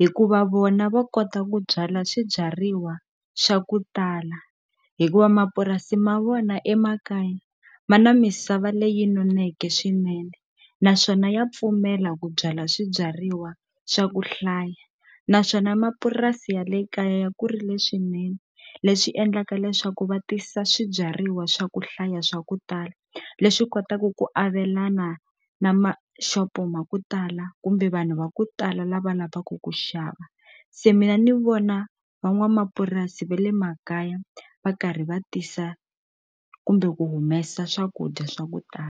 hikuva vona va kota ku byala swibyariwa swa ku tala hikuva mapurasi ma vona emakaya ma na misava leyi noneke swinene naswona ya pfumela ku byala swibyariwa swa ku hlaya naswona mapurasi ya le kaya ya kurile leswinene leswi endlaka leswaku va tisa swibyariwa swa ku hlaya swa ku tala leswi kotaku ku avelana na maxopo ma ku tala kumbe vanhu va ku tala lava lavaku ku xava se mina ni vona van'wamapurasi ve le makaya va karhi va tisa kumbe ku humesa swakudya swa ku tala.